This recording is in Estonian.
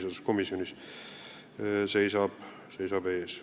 Aitäh!